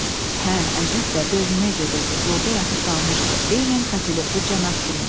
Hə, əlbəttə, Berlinə gedirdi, yolda yatıb qalmışdı, eynən katelyoklu cənab kimi.